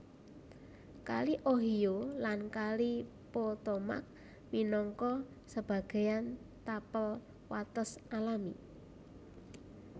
Kali Ohio lan Kali Potomac minangka sebagéyan tapel wates alami